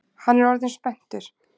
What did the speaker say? Hann er orðinn spenntur.